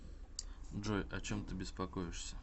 джой о чем ты беспокоишься